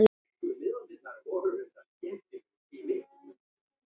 Nú voru það börnin.